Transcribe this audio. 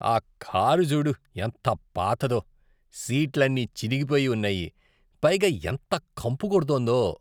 ఆ కారు చూడు ఎంత పాతదో. సీట్లన్నీ చినిగిపోయి ఉన్నాయి, పైగా ఎంత కంపు కొడుతోందో.